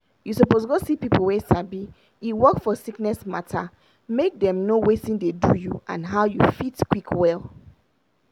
you suppose go see people wey sabi e work for sickness matter make dem know watin dey do you and how you fit quick well.